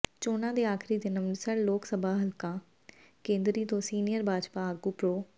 ਚੋਣਾਂ ਦੇ ਆਖਰੀ ਦਿਨ ਅੰਮ੍ਰਿਤਸਰ ਲੋਕਸਭਾ ਹਲਕਾ ਕੇਂਦਰੀ ਤੋਂ ਸੀਨੀਅਰ ਭਾਜਪਾ ਆਗੂ ਪ੍ਰੋ